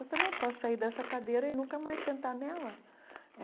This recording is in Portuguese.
Eu também posso sair dessa cadeira e nunca mais sentar nela é.